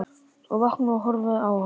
Og vakna og horfi á hana.